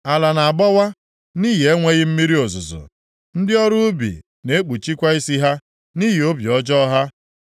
Ala na-agbawa nʼihi enweghị mmiri ozuzo. Ndị ọrụ ubi na-ekpuchikwa isi ha nʼihi obi ọjọọ ha.